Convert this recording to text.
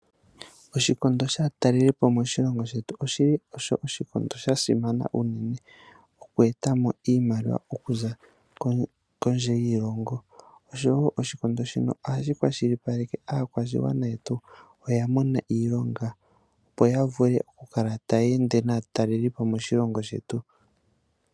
Oshikondo shaatalelipo moshilongo shetu osho shili oshikondo shasimana unene okwee etamo iimaliwa okuza kondje yoshilongo. Oshowo oshikondo shino ohashi kwashilipaleke aakwashigwana yetu oya mona iilonga yoya vule oku kala taya ende naatalelipo moshilongo shetu.